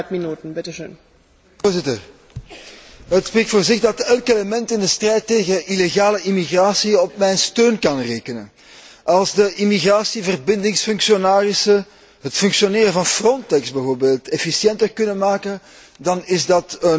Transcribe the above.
Voorzitter, het spreekt voor zich dat elk element in de strijd tegen illegale immigratie op mijn steun kan rekenen. Als de immigratieverbindingsfunctionarissen het functioneren van Frontex, bijvoorbeeld, efficiënter kunnen maken, dan is dat een positieve zaak.